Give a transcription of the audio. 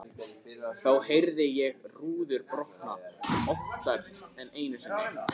Þá heyrði ég rúður brotna, oftar en einu sinni.